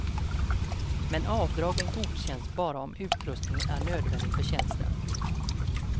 Men avdragen godkänns bara om utrustningen är nödvändig för tjänsten.